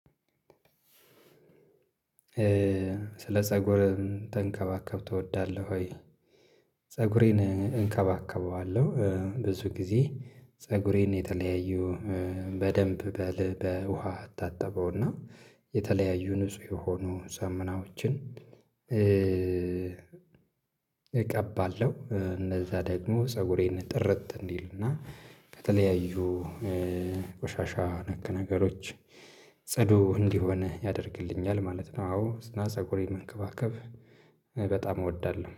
ስለ ፀጉር ተንከባከብ ትወዳለህ ወይ? ፀጉሬን እንከባከበዋለሁ ብዙ ጊዜ ፀጉሬን የተለያዩ በደንብ በል በውሃ አታጠበውና የተለያዩ ንጹህ የሆኑ ሳሙናዎችን እቀባለሁ እንደዛ ደግሞ ፀጉሬን ጥርት እንዲልና እና ከተለያዩ ቆሻሻ ነክ ነገሮች ጽዱ እንዲሆን ያደርግልኛል ማለት ነው። አዎ ፀጉሬ መንከባከብ በጣም እወዳለሁ